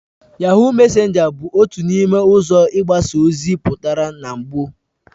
Yahoo mesenga bu otu n'ime uzo igbasa ozi putara na gboo